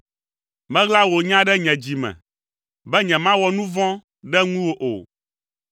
Meɣla wò nya ɖe nye dzi me, be nyemawɔ nu vɔ̃ ɖe ŋuwò o.